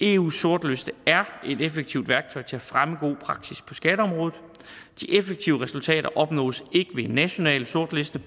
eus sortliste er et effektivt værktøj til at fremme god praksis på skatteområdet de effektive resultater opnås ikke ved en national sortliste